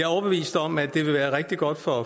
overbevist om at det vil være rigtig godt for